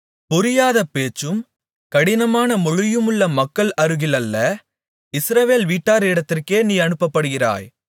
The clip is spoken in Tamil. புரியாத பேச்சும் கடினமான மொழியுமுள்ள மக்கள் அருகில் அல்ல இஸ்ரவேல் வீட்டாரிடத்திற்கே நீ அனுப்பப்படுகிறாய்